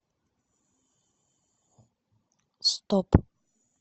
стоп